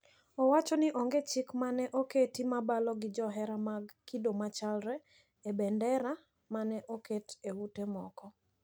Owacho ni onge chik ma ne oketi ma balo gi johera mag kido machalre e bandera ma ne oket e ute moko.